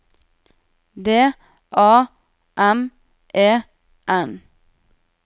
D A M E N